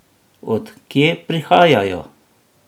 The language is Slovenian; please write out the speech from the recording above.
Od kje prihajajo?